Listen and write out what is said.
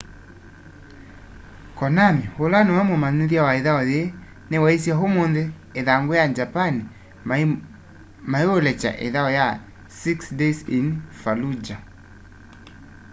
konami ula niwe mumithya wa ithau yii ni waisye umunthi ithanguni ya japan maiulekya ithau ya six days in fallujah